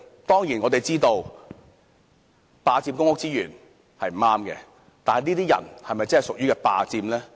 當然，我們知道霸佔公屋資源是不對的，但這些人是否確實屬於霸佔公屋呢？